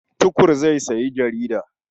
Tukur zai sayi jarida.